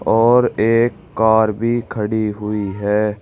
और एक कार भी खड़ी हुई है।